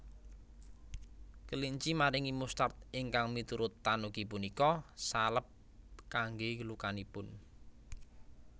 Kelinci maringi mustard ingkang miturut tanuki punika salep kangge lukanipun